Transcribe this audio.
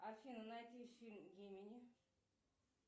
афина найди фильм гемини